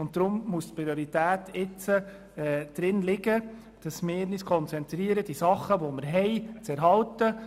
Deshalb müssen wir uns jetzt in erster Linie darauf konzentrieren, die Dinge, die wir haben, zu erhalten.